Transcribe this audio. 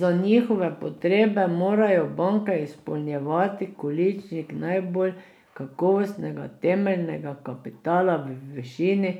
Za njihove potrebe morajo banke izpolnjevati količnik najbolj kakovostnega temeljnega kapitala v višini